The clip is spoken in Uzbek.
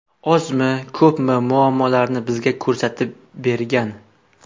Ozmi, ko‘pmi muammolarni bizga ko‘rsatib bergan.